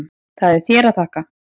Það er þér að þakka.